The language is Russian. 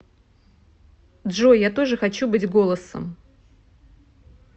джой я тоже хочу быть голосом